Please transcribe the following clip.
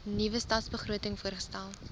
nuwe stadsbegroting voorgestel